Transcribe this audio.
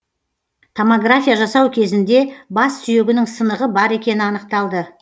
томография жасау кезінде бас сүйегінің сынығы бар екені анықталды